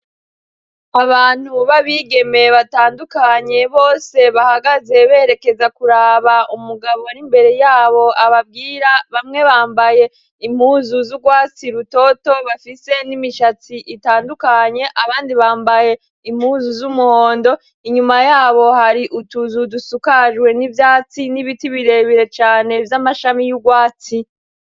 Abantu b'abigemeye batandukanye bose bahagaze berekeza kuraba umugabo ar'imbere yabo ababwira bamwe bambaye impuzu z'urwatsi lutoto bafise n'imishatsi itandukanye abandi bambaye impuzu z'umuhondo inyuma yabo hari utuzudusuka kajwe n'ivyatsi n'ibiti birebire cane vy'amashami y'urwatsi.